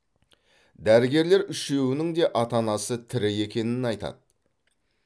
дәрігерлер үшеуінің де ата анасы тірі екенін айтады